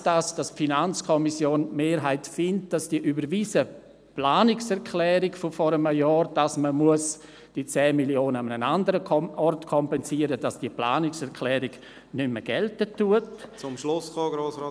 Heisst das, die Mehrheit der FiKo ist der Meinung, dass die vor einem Jahr überwiesene Planungserklärung, wonach diese 10 Mio. Franken an einem anderen Ort kompensiert werden sollen, nicht mehr gilt?